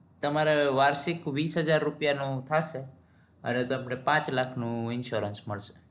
તમારે વાર્ષિક વીસ હજાર નું થાશે અને તમને પાચ લાખનું insurance મળશ